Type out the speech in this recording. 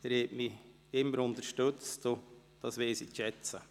Sie haben mich immer unterstützt, und das weiss ich zu schätzen.